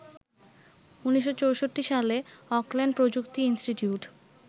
১৯৬৪ সালে অকল্যান্ড প্রযুক্তি ইন্সটিটিউট